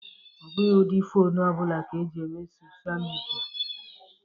Ọ bụghị ụdị fonu ọ bụla ka eji eme sochịa midia.